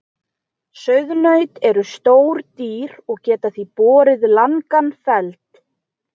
Sauðnaut eru stór dýr og geta því borið langan feld.